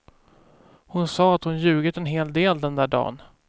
Hon sa att hon ljugit en hel del den där dan.